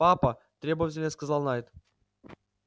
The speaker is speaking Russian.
папа требовательно сказал найд